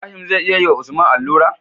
Ibrahim zai iya yi wa usman alura?